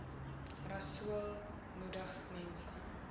rasool moedig mense